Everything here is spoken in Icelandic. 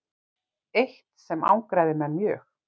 þó var það eitt sem angraði menn mjög